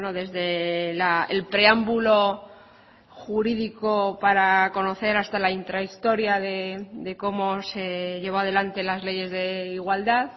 desde el preámbulo jurídico para conocer hasta la intrahistoria de cómo se llevó adelante las leyes de igualdad